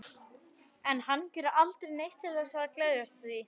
En hann gerir aldrei neitt til þess að geðjast því.